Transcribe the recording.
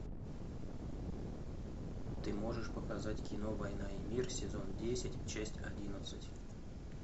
ты можешь показать кино война и мир сезон десять часть одиннадцать